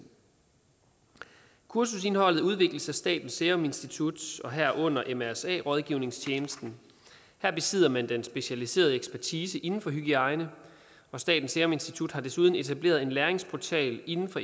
kursusindholdet udvikles af statens statens serum institut herunder mrsa rådgivningstjenesten her besidder man den specialiserede ekspertise inden for hygiejne og statens serum institut har desuden etableret en læringsportal inden for